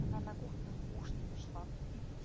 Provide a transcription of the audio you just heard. она на кухню кушать пошла